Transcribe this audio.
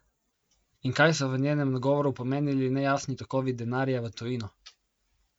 In kaj so v njenem nagovoru pomenili nejasni tokovi denarja v tujino?